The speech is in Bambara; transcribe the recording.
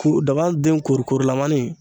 Ku zaban den kori korilamani